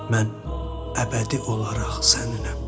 Mən əbədi olaraq səninəm.